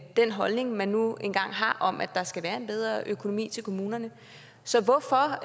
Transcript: den holdning man nu engang har om at der skal være en bedre økonomi til kommunerne så hvorfor